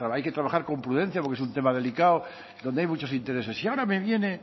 hay que trabajar con prudencia porque es un tema delicado donde hay muchos intereses y ahora me viene